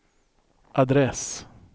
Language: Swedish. adress